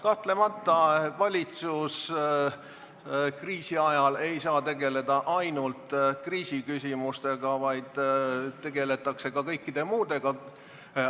Kahtlemata ei saa valitsus tegeleda kriisi ajal ainult kriisiküsimustega, vaid tegeletakse ka kõikide muudega.